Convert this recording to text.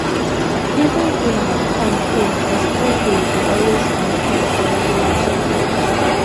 even though my time full i still dey dey always find space for regular checkup.